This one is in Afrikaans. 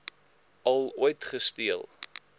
al ooit gesteel